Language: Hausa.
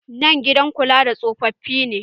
Nan gidan kula da tsofafi ne.